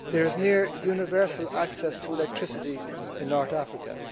There is near universal access to electricity in North Africa.